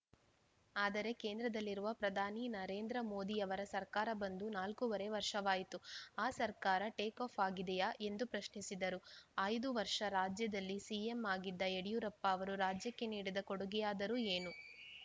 ಆದರೆ ಕೇಂದ್ರದಲ್ಲಿರುವ ಪ್ರಧಾನಿ ನರೇಂದ್ರ ಮೋದಿ ಅವರ ಸರ್ಕಾರ ಬಂದು ನಾಲ್ಕು ವರೆ ವರ್ಷವಾಯಿತು ಆ ಸರ್ಕಾರ ಟೇಕಫ್‌ ಆಗಿದೆಯಾ ಎಂದು ಪ್ರಶ್ನಿಸಿದರು ಐದು ವರ್ಷ ರಾಜ್ಯದಲ್ಲಿ ಸಿಎಂ ಆಗಿದ್ದ ಯಡಿಯೂರಪ್ಪ ಅವರು ರಾಜ್ಯಕ್ಕೆ ನೀಡಿದ ಕೊಡುಗೆಯಾದರೂ ಏನು